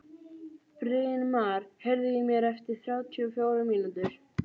Brynmar, heyrðu í mér eftir þrjátíu og fjórar mínútur.